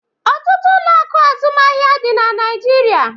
Ọtụtụ ụlọ akụ azụmahịa dị na Naịjirịa.